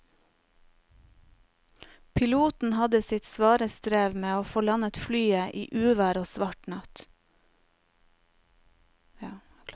Piloten hadde sitt svare strev med å få landet flyet i uvær og svart natt.